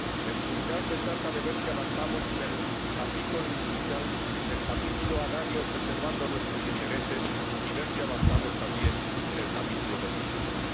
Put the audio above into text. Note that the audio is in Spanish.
En puridad, se trata de ver si avanzamos en el capítulo industrial, en el capítulo agrario, preservando nuestros intereses, y ver si avanzamos también en el capítulo de los servicios.